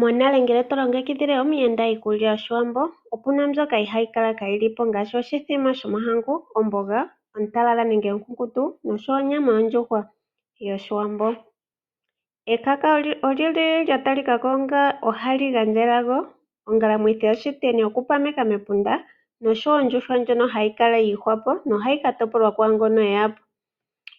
Monale ngele to longekidhile omuyenda iikulya yoshiwambo opu na mbyoka ihayi kala kayiimo ngaashi oshimbombo shomahangu, omboga ontalala nenge onkunkutu oshowo onyama ondjuhwa yoshiwambo. Ekaka olyi li lya ta li ka ko onga hali gandja elago, ongalamwithi yashiteni okupameka mepunda noshowo ondjuhwa ndjono hayi kala yiihwa po, na ohayi ka topolwa kwaangono eya po,